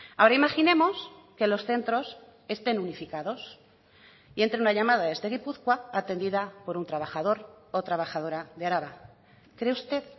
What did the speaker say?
ahora imaginemos que los centros estén unificados y entre una llamada desde gipuzkoa atendida por un trabajador o trabajadora de araba cree usted